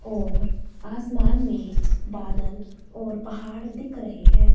और आसमान में बादल और पहाड़ दिख रहे हैं।